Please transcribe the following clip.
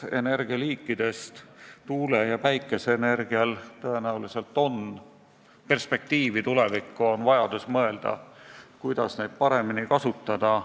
Energialiikidest on tuule- ja päikeseenergial tõenäoliselt tulevikuperspektiivi, on vaja mõelda, kuidas neid paremini kasutada.